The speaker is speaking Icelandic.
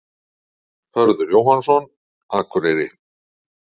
Hörður Jóhannsson, Akureyri